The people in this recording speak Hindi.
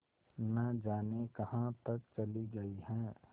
न जाने कहाँ तक चली गई हैं